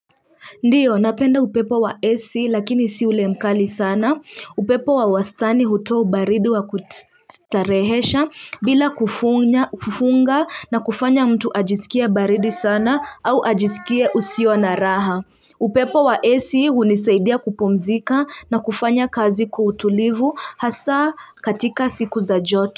Ndiyo, napenda upepo wa AC lakini si ule mkali sana. Upepo wa wastani hutoa ubaridi wa kustarehesha bila kufunya kufunga na kufanya mtu ajisikie baridi sana au ajisikie usio na raha. Upepo wa AC hunisaidia kupumzika na kufanya kazi kwa utulivu hasa katika siku za joto.